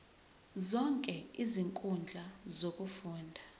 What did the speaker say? zonke izinkundla zokufunda